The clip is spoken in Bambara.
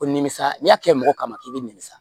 Ko nimisa n'i y'a kɛ mɔgɔ kama k'i bɛ ninmisa